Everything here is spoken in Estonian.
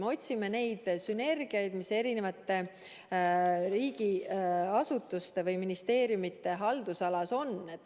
Me otsime neid sünergiaid, mis riigiasutuste või ministeeriumide haldusalas on.